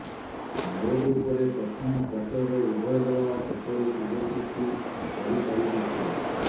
ମୋଟଉପରେ ପ୍ରଥମ କ୍ୱାର୍ଟରରେ ଉଭୟ ଦଳ ସେପରି ସୁଯୋଗ ସୃଷ୍ଟି କରି ପାରିନଥିଲେ